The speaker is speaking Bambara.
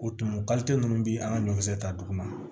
O tumu ninnu bɛ an ka ɲɔkisɛ ta dugu ma